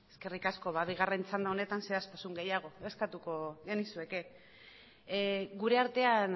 eskerrik asko bigarren txanda honetan zehaztasun gehiago eskatuko genizueke gure artean